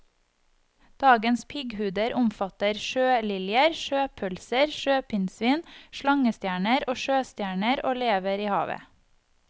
Dagens pigghuder omfatter sjøliljer, sjøpølser, sjøpinnsvin, slangestjerner og sjøstjerner og lever i havet.